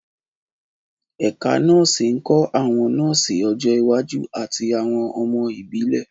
Ẹ̀ka nọ́ọ̀sì ń kọ́ àwọn nọ́ọ̀sì ọjọ́ iwájú àti àwọn ọmọ ìbílẹ̀.